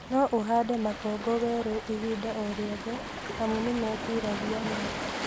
No ũhande makongo werũ ihinda o rĩothe amu nĩmetiragia nyota